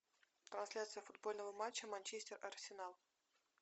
трансляция футбольного матча манчестер арсенал